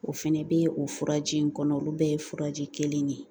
O fɛnɛ bɛ o furaji in kɔnɔ olu bɛɛ ye furaji kelen de ye